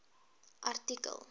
artikel